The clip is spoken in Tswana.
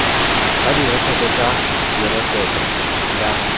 ba direkoto tsa direkoto tsa